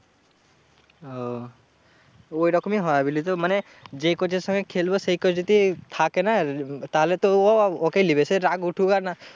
ওহ ওই রকমই হয় বুঝলি তো? মানে যেই coach এর সঙ্গে খেলবো সেই coach যদি থাকে না? তাহলে তো ও ওকেই লিবে। সে রাগ উঠুক আর না